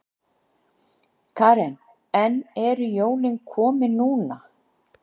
Karen: En eru jólin komin núna?